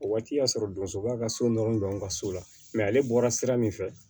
O waati y'a sɔrɔ donso b'a ka so nɔrɔ don an ka so la mɛ ale bɔra sira min fɛ